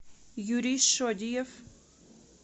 юрий шодиев